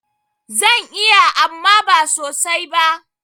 Zan iya amma ba sosai ba.